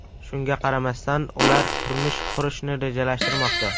Shunga qaramasdan ular turmush qurishni rejalashtirmoqda.